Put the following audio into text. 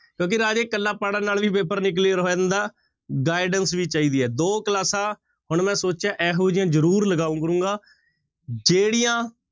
ਕਿਉਂਕਿ ਰਾਜੇ ਇਕੱਲਾ ਪੜ੍ਹਨ ਨਾਲ ਵੀ ਪੇਪਰ ਨੀ clear ਹੋ ਜਾਂਦਾ guidance ਵੀ ਚਾਹੀਦੀ ਹੈ, ਦੋ ਕਲਾਸਾਂ ਹੁਣ ਮੈਂ ਸੋਚਿਆ ਇਹੋ ਜਿਹੀਆਂ ਜ਼ਰੂਰ ਲਗਾਇਆ ਕਰਾਂਗਾ, ਜਿਹੜੀਆਂ